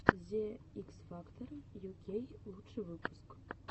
зе икс фактор ю кей лучший выпуск